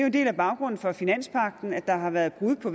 en del af baggrunden for finanspagten at der har været brud på